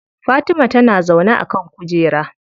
Fatima tana zaune a kan kujera.